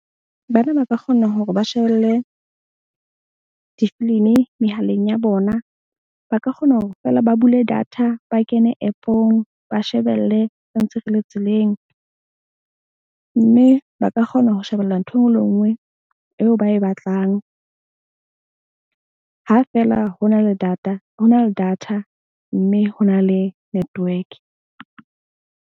Bana ba ka kgona hore ba shebelle difilimi mehaleng ya bona. Ba ka kgona hore feela ba bule data ba kene app-ong ba shebelle re ntse re le tseleng. Mme ba ka kgona ho shebella ntho e nngwe le e nngwe eo ba e batlang. Ha feela ho na le data mme ho na le network.